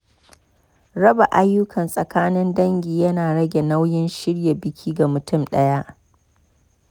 Raba ayyuka tsakanin dangi ya na rage nauyin shirya biki ga mutum ɗaya.